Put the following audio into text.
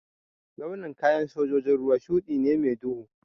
Launin kayan sojojin ruwa shuɗi ne mai duhu